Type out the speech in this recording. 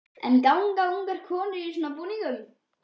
En ganga ungar konur í svona búningum?